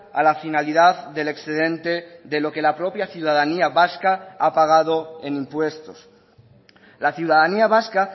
a la finalidad del excedente de lo que la propia ciudadanía vasca ha pagado en impuestos la ciudadanía vasca